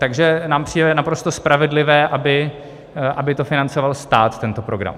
Takže nám přijde naprosto spravedlivé, aby to financoval stát, tento program.